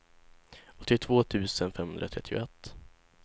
åttiotvå tusen femhundratrettioett